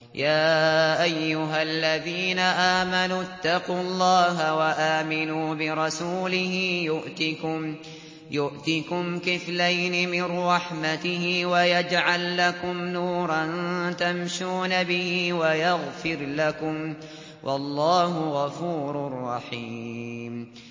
يَا أَيُّهَا الَّذِينَ آمَنُوا اتَّقُوا اللَّهَ وَآمِنُوا بِرَسُولِهِ يُؤْتِكُمْ كِفْلَيْنِ مِن رَّحْمَتِهِ وَيَجْعَل لَّكُمْ نُورًا تَمْشُونَ بِهِ وَيَغْفِرْ لَكُمْ ۚ وَاللَّهُ غَفُورٌ رَّحِيمٌ